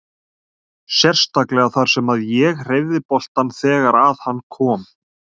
Sérstaklega þar sem að ég hreyfði boltann þegar að hann kom.